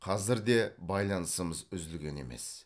қазір де байланысымыз үзілген емес